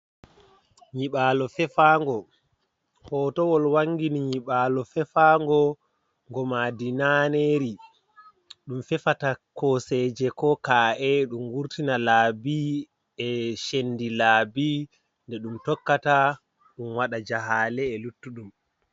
Nyiɓalo fefango, hotowol wangini nyiɓalo fefango go maandi naneri, ɗum fefata koseje ko ka'e ɗum wurtina laabi e chendi laabi nde ɗum tokkata ɗum waɗa jahale e luttu ɗum.